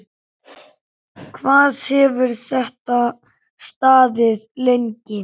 Hvað hefur þetta staðið lengi?